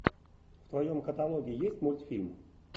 в твоем каталоге есть мультфильм